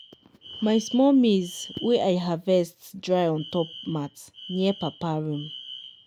my small maize wey i harvest dry ontop mat near papa room.